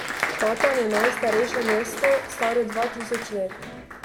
Patan je najstarejše mesto, staro dva tisoč let.